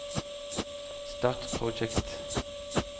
start Project